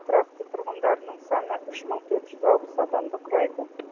қаланың тұрақты тұрғындарының саны үш мың төрт жүз алпыс адамды құрайды